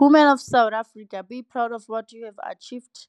Women of South Africa, be proud of what you have achieved.